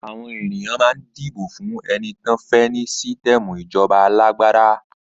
Àwọn ènìyàn mà ń dibo fún ẹni tán fẹ ni sítẹmù ìjọba alàgbàdà